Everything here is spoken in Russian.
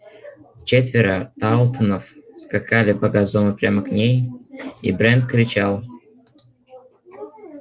четверо тарлтонов скакали по газону прямо к ней и брент кричал